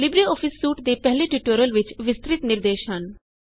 LibreOffice suite ਦੇ ਪਹਿਲੇ tutorial ਵਿੱਚ ਵਿਸਤ੍ਰਿਤ ਨਿਰਦੇਸ਼ ਹਨ